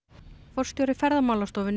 forstjóri Ferðamálastofu